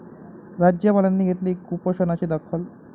राज्यपालांनी घेतली कुपोषणाची दखल